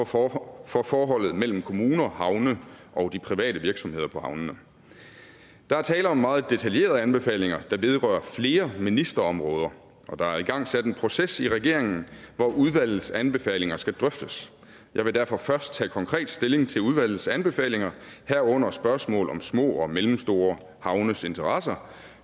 for for forholdet mellem kommuner havne og de private virksomheder på havnene der er tale om meget detaljerede anbefalinger der vedrører flere ministerområder og der er igangsat en proces i regeringen hvor udvalgets anbefalinger skal drøftes jeg vil derfor først tage konkret stilling til udvalgets anbefalinger herunder spørgsmål om små og mellemstore havnes interesser